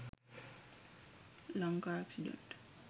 lanka accident